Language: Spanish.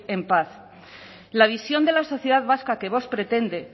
en paz la visión de la sociedad vasca que vox pretende